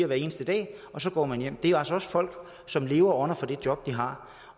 hver eneste dag og så går man hjem det er også folk som lever og ånder for det job de har